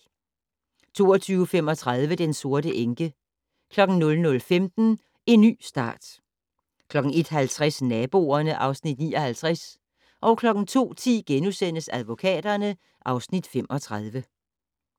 22:35: Den sorte enke 00:15: En ny start 01:50: Naboerne (Afs. 59) 02:10: Advokaterne (Afs. 35)*